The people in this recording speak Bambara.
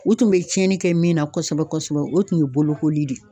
U tun be tiɲɛni kɛ min na kɔsɛbɛ kɔsɛbɛ, o tun ye bolokoli de ye.